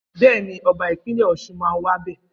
Bẹẹni, ọba Ìpínlẹ ọsún mà wà bẹ.